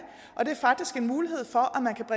og det er faktisk en mulighed for